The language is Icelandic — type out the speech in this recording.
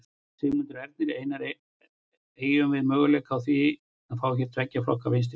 Sigmundur Ernir: Einar, eygjum við möguleika á því að fá hér tveggja flokka vinstristjórn?